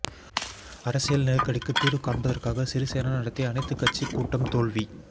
அரசியல் நெருக்கடிக்கு தீர்வு காண்பதற்காக சிறிசேன நடத்திய அனைத்துக்கட்சி கூட்டம் தோல்வி